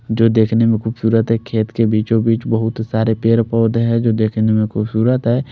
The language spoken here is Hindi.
जो दिखने में खुबसूरत है खेत के बीचो बिच बहुत सारे पेड़ पोधे है जो देखने में खुबसूरत है।